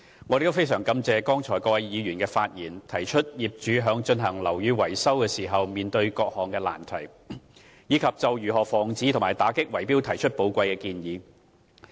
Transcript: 我亦非常感謝剛才各位議員發言，提出業主在進行樓宇維修時面對的各種難題，以及就如何防止和打擊圍標提出寶貴的建議。